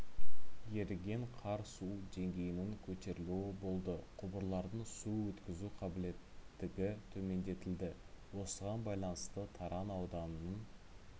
еріген қар су деңгейінің көтерілуі болды құбырлардың су өткізу қабілеттігі төмендетілді осыған байланысты таран ауданының